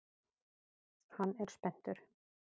Hann er spenntur.